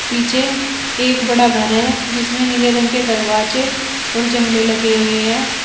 पीछे एक बड़ा घर है जिसमें नीले रंग के दरवाजे और जंगली लगे हुए हैं।